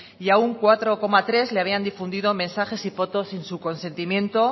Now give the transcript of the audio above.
y a un cuatro coma tres le habían difundido mensajes y fotos sin su consentimiento